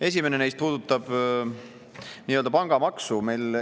Esimene neist puudutab nii-öelda pangamaksu.